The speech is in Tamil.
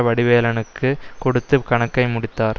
வடிவேலனுக்கு கொடுத்து கணக்கை முடித்தார்